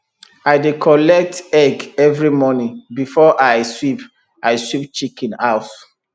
i dey collect egg every morning before i sweep i sweep chicken house